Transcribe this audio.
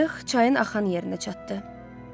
Qayıq çayın axan yerinə çatdı.